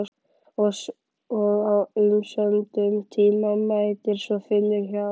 Og á umsömdum tíma mætir svo Finnur hjá